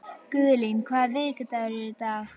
Guðlín, hvaða vikudagur er í dag?